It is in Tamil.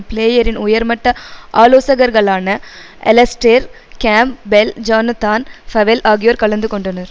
பிளேயரின் உயர்மட்ட ஆலோசகர்களான Alastair Campbell Jonathan Powell ஆகியோர் கலந்து கொண்டனர்